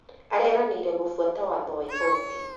Areranĩire gũbuata watho wa igoti